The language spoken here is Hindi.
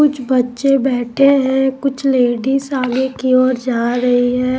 कुछ बच्चे बैठे हैं कुछ लेडीज आगे की ओर जा रही है।